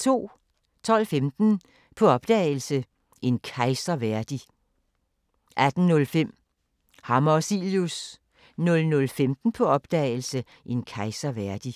12:15: På opdagelse – En kejser værdig 18:05: Hammer og Cilius 00:15: På opdagelse – En kejser værdig *